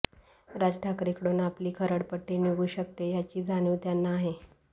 राज ठाकरेंकडून आपली खरडपट्टी निघू शकते याची जाणीव त्यांना आहे